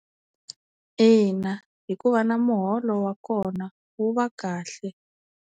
Ina hikuva na muholo wa kona wu va kahle.